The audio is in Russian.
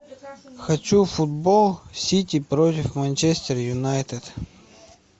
хочу футбол сити против манчестер юнайтед